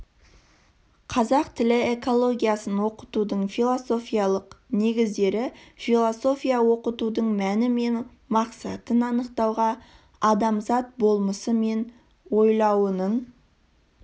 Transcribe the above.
қазақ тілі экологиясын оқытудың философиялық негіздері философия оқытудың мәні мен мақсатын анықтауға адамзат болмысы мен ойлауының